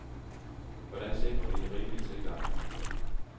Hvordan sikrer vi en rimelig tilgang?